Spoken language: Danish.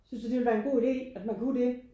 Synes du det ville være en god idé at man kunne det?